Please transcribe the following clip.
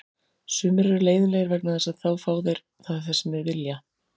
Sumir eru leiðinlegir vegna þess að þá fá þeir það sem þeir vilja.